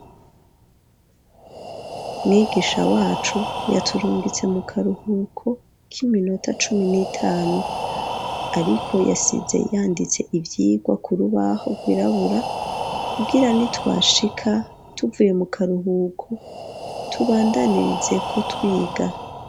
Mwigisha wacu yaturungitse mu karuhuko k'iminota cumi n'itanu. Ariko yasize yanditse ivyigwa ku rubaho rwirabura, kugira ni twashika tuvuye mu karuhuko tubandanirizeko twiga.